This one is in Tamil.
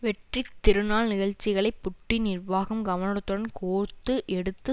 வெற்றித் திருநாள் நிகழ்ச்சிகளை புட்டின் நிர்வாகம் கவனத்துடன் கோர்த்து எடுத்து